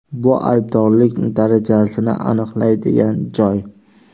Bu aybdorlik darajasini aniqlaydigan joy.